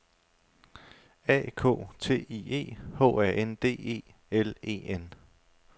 A K T I E H A N D E L E N